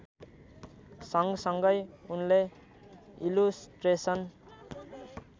सँगसँगै उनले इलुस्ट्रेसन